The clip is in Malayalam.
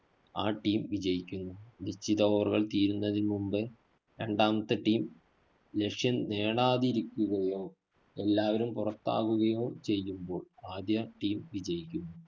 ആ team വിജയിക്കുന്നു. നിശ്ചിത over കള്‍ തീരുന്നതിനു മുന്‍പേ രണ്ടാമത്തെ team ലക്ഷ്യം നേടാതിരിക്കുകയോ, എല്ലാവരും പുറത്താവുകയോ ചെയ്യുമ്പോള്‍ ആദ്യ team വിജയിക്കുന്നു.